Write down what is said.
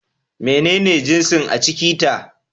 Menene jinsin a ciki ta?